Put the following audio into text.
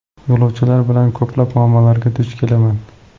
Yo‘lovchilar bilan ko‘plab muammolarga duch kelaman.